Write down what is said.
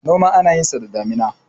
noma ana yinsa da daminar